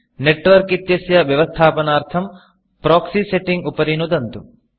network इत्यस्य व्यवस्थापनार्थं proxy proxy setting उपरि नुदन्तु